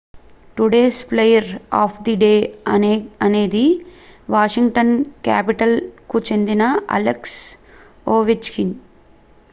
today's player of the day అనేది Washington Capitals కు చెందిన అలెక్స్ ఓవెచ్కిన్